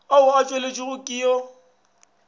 ao a tšweletšwago ke yo